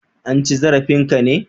An ci zarafin ka ne?